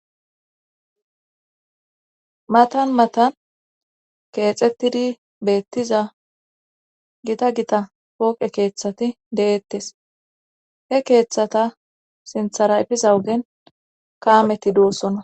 Matan matan keexettidi beettiza gita gita pooqe keeththati deettes he keeththata sinthara epiza wogen kaameti doossonna